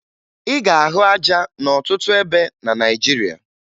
Ị ga-ahụ aja n'ọtụtụ ebe na Naịjirịa